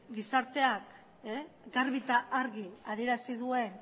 gizarteak garbi eta argi adierazi duen